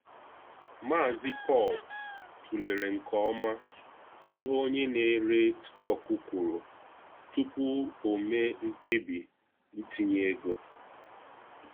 Mazị Paul tụlere nke ọma ihe onye na-ere stọkụ kwuru tupu o mee mkpebi itinye ego.